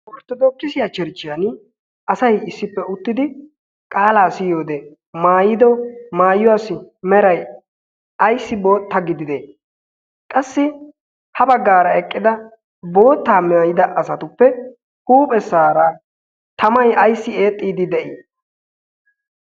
orttodookkisiya chcherchchiyan asay issippe uttidi qaalaa siyi wode maayido maayuwaasi meray ayssi bootta gidide qassi ha baggaara eqqida boottaa maayida asatuppe huuphessaara tamay ayssi eexxiidi de'ii